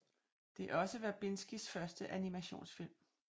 Det er også Verbinskis første animationsfilm